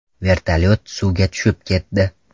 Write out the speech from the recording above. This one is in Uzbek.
Vertolyot suvga tushib ketdi.